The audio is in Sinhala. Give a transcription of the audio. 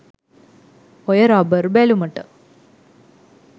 ඔය රබර් බැලුමට